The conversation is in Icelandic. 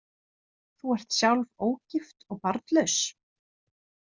Þú ert sjálf ógift og barnlaus.